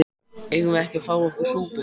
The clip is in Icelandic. Eigum við ekki að fá okkur súpu?